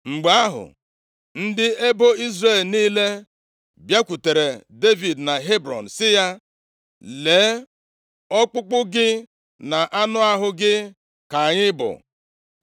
Mgbe ahụ, ndị ebo Izrel niile bịakwutere Devid na Hebrọn, sị ya, “Lee, ọkpụkpụ gị na anụ ahụ gị ka anyị bụ.